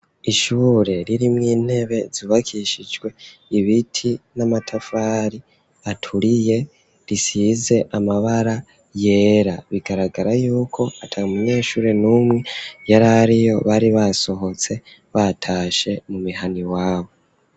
Ishure riri mw'intebe zubakishijwe ibiti n'amatafari aturiye risize amabara yera bigaragara yuko ata munyeshuri n'umwe yarariyo bari basohotse batashe mu mihana iwabo.